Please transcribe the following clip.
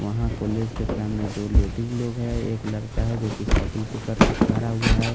वहाँ कॉलेज के सामने दो लोग है एक लड़का है जो की सायकल पकड़ के खड़ा हुआ है।